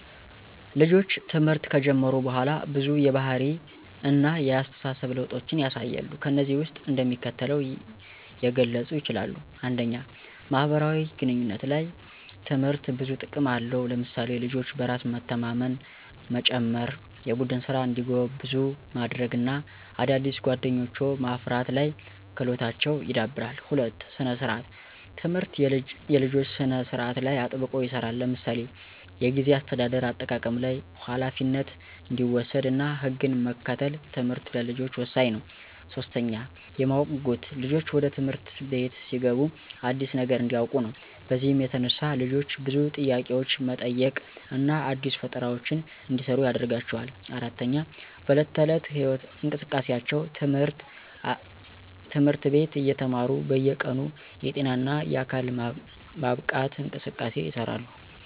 ልጆች ትምህርት ከጀመሩ በኋላ ብዙ የባህሪ እነ የአስተሳሰብ ለውጦችን ያሳያሉ። ከነዚህም ውስጥ እንደሚከተሉት የገለጹ ይችላሉ። 1, ማህበራዊ ግንኙነቶች፦ ላይ ትምህርት ብዙ ጥቅም አለው ለምሳሌ፦ ልጆች በራስ መተማመንን መጨመራ፣ የቡድን ስራ እንዲጎብዙ ማድርግ እና አዳዲስ ጓደኞችዎ ማፍርት ላይ ክህሎታቸው ይዳብራል። 2, ሰነ-ስርአት፦ ትምህርት የልጆች ስነ ስርአት ላይ አጥብቆ ይሰራል ለምሳሌ፦ የጊዜ አሰተዳደር (አጠቃቀም ላይ) ፣ኋላፊነት እንዲወሰድ እና ህግን መከተል ትምህርት ለልጆች ወሳኝ ነው። 3, የማወቅ ጉጉት፦ ልጆች ወደ ትምህርት አቤት ሲገቡ አዲስ ነገር እንዲውቁ ነው። በዚህም የተነሳ ልጆች ብዙ ጥያቄዎች መጠየቅ እና አዲስ ፈጠራዎችን እንዲሰሩ ያደርጋቸዋል። 4, በዕለት ተዕለት እንቅስቃሴዎች፦ ትምህርት አቤት የተማሩት በየ ቀኑ የጤና እነ የአካል ማብቃት እንቅስቃሴ ይሰራሉ።